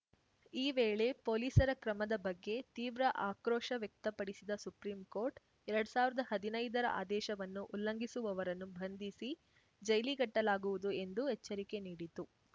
ಈ ವೇಳೆ ಪೊಲೀಸರ ಕ್ರಮದ ಬಗ್ಗೆ ತೀವ್ರ ಆಕ್ರೋಶ ವ್ಯಕ್ತಪಡಿಸಿದ ಸುಪ್ರಿಂಕೋರ್ಟ್‌ ಎರಡ್ ಸಾವ್ರ್ದಾ ಹದಿನೈದರ ಆದೇಶವನ್ನು ಉಲ್ಲಂಘಿಸುವವರನ್ನು ಬಂಧಿಸಿ ಜೈಲಿಗಟ್ಟಲಾಗುವುದು ಎಂದು ಎಚ್ಚರಿಕೆ ನೀಡಿತು